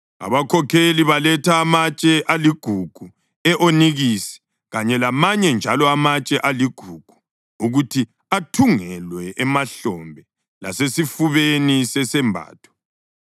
Abakhokheli baletha amatshe aligugu e-onikisi kanye lamanye njalo amatshe aligugu ukuthi athungelwe emahlombe lasesifubeni sesembatho.